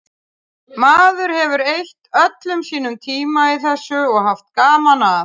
Maður hefur eytt öllum sínum tíma í þessu og haft gaman að.